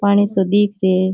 पानी सो दिख रियो है।